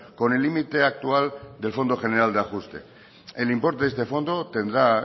con el límite actual del fondo general de ajuste el importe de este fondo tendrá